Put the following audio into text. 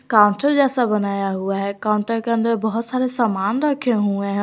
Counter जैसा बनाया हुआ है काउंटर के अंदर बहुत सारे सामान रखे हुए हैं।